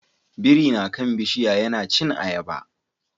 Biri na kan bishiya yana cin ayaba